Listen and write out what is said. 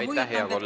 Aitäh, hea kolleeg!